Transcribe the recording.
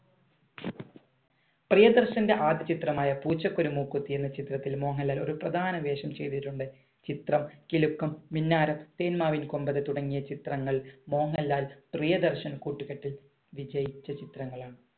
പ്രിയദർശന്‍റെ ആദ്യ ചിത്രമായ പൂച്ചയ്ക്കൊരു മൂക്കുത്തി എന്ന ചിത്രത്തിലും മോഹൻലാൽ ഒരു പ്രധാന വേഷം ചെയ്തിട്ടുണ്ട്. ചിത്രം, കിലുക്കം, മിന്നാരം, തേന്മാവിൻ കൊമ്പത്ത് തുടങ്ങിയ ചിത്രങ്ങൾ മോഹൻലാൽ, പ്രിയദർശൻ കൂട്ടുകെട്ടിൽ വിജയിച്ച ചിത്രങ്ങളാണ്.